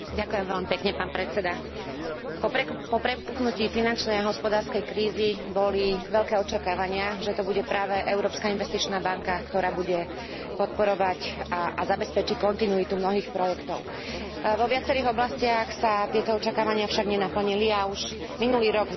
Po prepuknutí finančnej a hospodárskej krízy boli veľké očakávania, že to bude práve Európska investičná banka, ktorá bude podporovať a zabezpečí kontinuitu mnohých projektov. Vo viacerých oblastiach sa tieto očakávania však nenaplnili a už minulý rok v debate